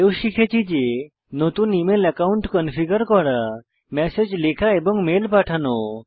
এও শিখেছি যে নতুন ইমেল অ্যাকাউন্ট কনফিগার করা ম্যাসেজ লেখা এবং মেল পাঠানো